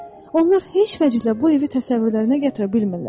Onlar heç vəclə bu evi təsəvvürlərinə gətirə bilmirlər.